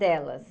Delas.